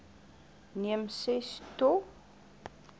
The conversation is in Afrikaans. neem ses to